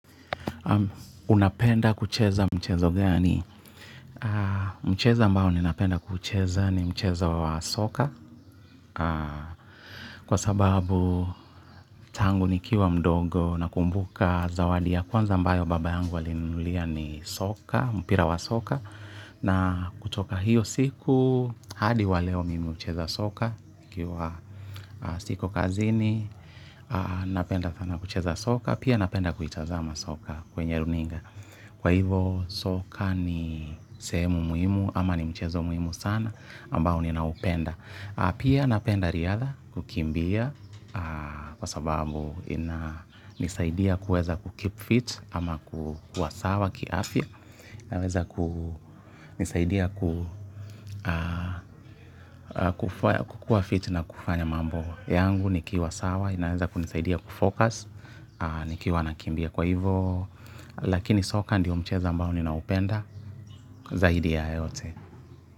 Unapenda kucheza mchezo gani. Mcheza ambao ninapenda kucheza ni mchezo wa soka. Kwa sababu tangu nikiwa mdogo nakumbuka zawadi ya kwanza ambayo baba yangu alilinulia ni soka, mpira wa soka. Na kutoka hiyo siku, hadi wa leo mimi hucheza soka ikiwa soko kazini, napenda sana kucheza soka. Pia napenda kuitazama soka kwenye runinga. Kwa hivo soka ni sehemu muhimu ama ni mchezo muhimu sana ambao ninaupenda pia napenda riadha kukimbia kwa sababu hunisaidia kuweza kukeep fit ama kuwa sawa kiafya. Naweza kunisaidia kukua fit na kufanya mambo yangu nikiwa sawa inaweza kunisaidia kufocus nikiwa nakimbia kwa hivyo lakini soka ndiyo mchezo ambao ninaupenda zaidi ya yote.